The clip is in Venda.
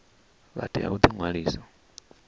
vha tea u ḓi ṅwalisa